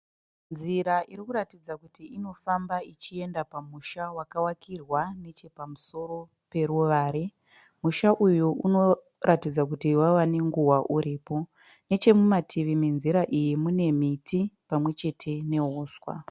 Nzira iri kuratidza kuti inofamba ichienda pa musha wakavakirwa neche pamusoro paruvare. Musha uyu unoratidza kuti wave ne nguva uripo . Neche mutativi menzira iyi mune miti pamwe chete nehuswa .